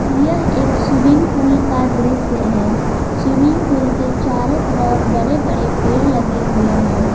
यह एक swimming pool का दृश्य है स्विमिंग पूल के चारों तरफ बड़े बड़े पेड़ लगे हुए हैं।